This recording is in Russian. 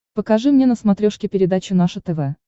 покажи мне на смотрешке передачу наше тв